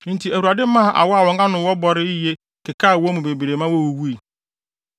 Enti, Awurade maa awɔ a wɔn ano wɔ bɔre yiye kɔkekaa wɔn mu bebree ma wowuwui.